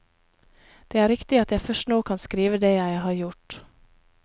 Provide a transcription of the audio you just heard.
Det er riktig at jeg først nå kan skrive det jeg har gjort.